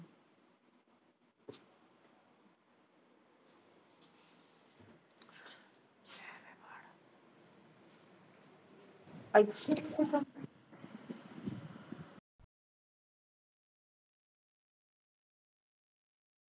ਜੇ ਵੇ ਫੜ